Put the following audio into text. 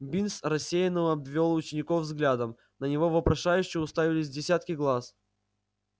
бинс рассеянно обвёл учеников взглядом на него вопрошающе уставились десятки глаз